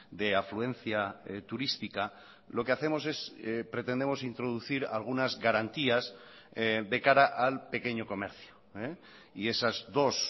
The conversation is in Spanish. de afluencia turística lo que hacemos es pretendemos introducir algunas garantías de cara al pequeño comercio y esas dos